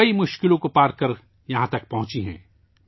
وہ بہت سی مشکلات کو عبور کرکے یہاں تک پہنچے ہیں